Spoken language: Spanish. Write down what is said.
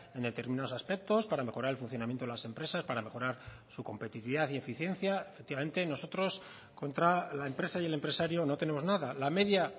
en determinados aspectos para mejorar el funcionamiento de las empresas para mejorar su competitividad y eficiencia efectivamente nosotros contra la empresa y el empresario no tenemos nada la media